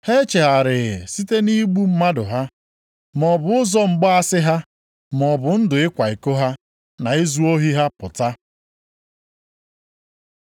Ha echegharịghị site nʼigbu mmadụ ha, maọbụ ụzọ mgbaasị ha, maọbụ ndụ ịkwa iko ha, na izu ohi ha pụta.